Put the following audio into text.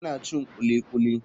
Ina cin kulikuli.